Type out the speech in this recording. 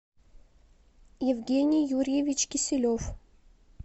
евгений юрьевич киселев